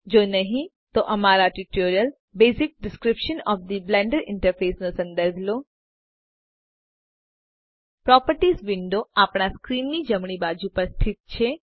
જો નહિ તો અમારા tutorial basic description of the Blender interface નો સંદર્ભ લો પ્રોપર્ટીઝ વિન્ડો આપણા સ્ક્રીનની જમણી બાજુ પર સ્થિત છે